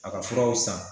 A ka furaw san